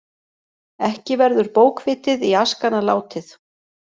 Ekki verður bókvitið í askana látið.